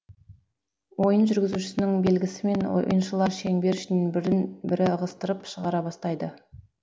ойын жүргізушінің белгісімен ойыншылар шеңбер ішінен бірін бірі ығыстырып шығара бастайды